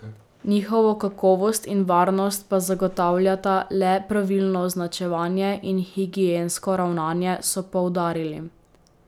Njihovo kakovost in varnost pa zagotavljata le pravilno označevanje in higiensko ravnanje, so poudarili.